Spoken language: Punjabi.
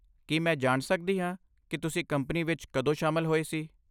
ਕੀ ਮੈਂ ਜਾਣ ਸਕਦੀ ਹਾਂ ਕਿ ਤੁਸੀਂ ਕੰਪਨੀ ਵਿੱਚ ਕਦੋਂ ਸ਼ਾਮਲ ਹੋਏ ਸੀ?